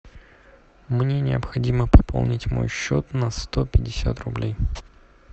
мне необходимо пополнить мой счет на сто пятьдесят рублей